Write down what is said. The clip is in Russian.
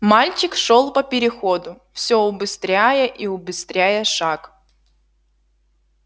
мальчик шёл по переходу всё убыстряя и убыстряя шаг